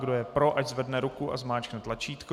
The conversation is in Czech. Kdo je pro, ať zvedne ruku a zmáčkne tlačítko.